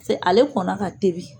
Piseke ale kɔn na ɔka tobi.